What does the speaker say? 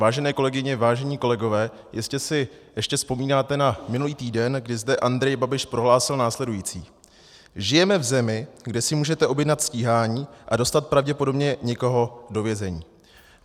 Vážené kolegyně, vážení kolegové, jistě si ještě vzpomínáte na minulý týden, kdy zde Andrej Babiš prohlásil následující: "Žijeme v zemi, kde si můžete objednat stíhání a dostat pravděpodobně někoho do vězení."